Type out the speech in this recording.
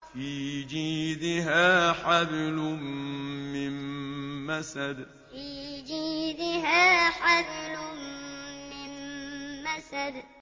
فِي جِيدِهَا حَبْلٌ مِّن مَّسَدٍ فِي جِيدِهَا حَبْلٌ مِّن مَّسَدٍ